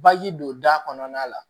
don da kɔnɔna la